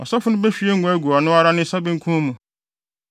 Ɔsɔfo no behwie ngo agu ɔno ara ne nsa benkum mu